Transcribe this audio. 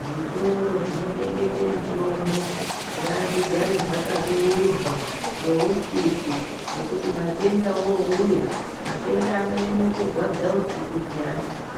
Zvitoro zvinotengesa mitombo ngazvigare zvakabeurwa ngousiku nekuti matenda anonyanya kurwadza usiku